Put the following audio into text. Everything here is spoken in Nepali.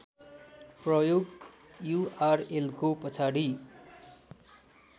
प्रयोग युआरएलको पछाडि